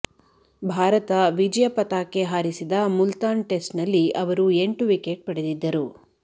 ಭಾರತ ವಿಜಯ ಪತಾಕೆ ಹಾರಿಸಿದ ಮುಲ್ತಾನ್ ಟೆಸ್ಟ್ನಲ್ಲಿ ಅವರು ಎಂಟು ವಿಕೆಟ್ ಪಡೆದಿದ್ದರು